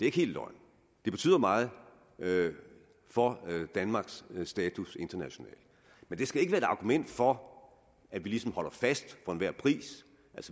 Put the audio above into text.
ikke helt løgn det betyder meget for danmarks status internationalt men det skal ikke være argument for at vi ligesom holder fast for enhver pris